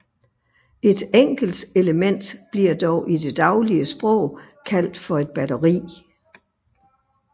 Et enkelt element bliver dog i det daglige sprog kaldt for et batteri